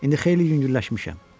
İndi xeyli yüngülləşmişəm.